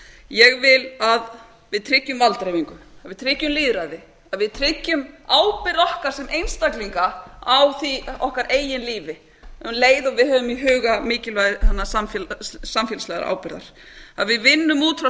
ég vil að við tryggjum valddreifingu að við tryggjum lýðræði að við tryggjum ábyrgð okkar sem einstaklinga á okkar eigin lífi um leið og við höfum í huga mikilvægi samfélagslegrar ábyrgðar að við vinnum út frá